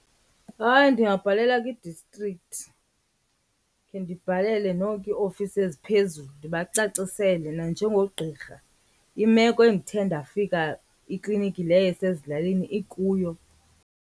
Hayi, ndingabhalela kwi-district, khe ndibhalele noko iiofisi eziphezulu ndibacacisele nanjengogqirha imeko endithe ndafika iklinikhi leyo esezilalini ikuyo.